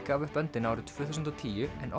gaf upp öndina árið tvö þúsund og tíu en